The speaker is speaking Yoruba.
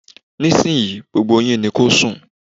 Nísìnyí, gbogbo yín ni kó sùn!